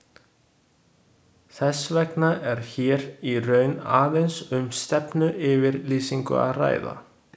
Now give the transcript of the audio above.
Þess vegna er hér í raun aðeins um stefnuyfirlýsingu að ræða.